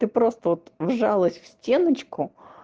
ты просто вот вжалась в стеночку